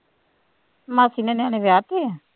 ਮਾਸੀ ਨੇ ਨਿਆਣੇ ਵਿਆਹ ਤੇ ਹੈ,